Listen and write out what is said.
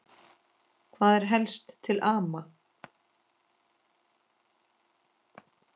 Hvað er helst til ama?